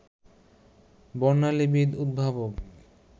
বর্ণালীবিদ, উদ্ভাবক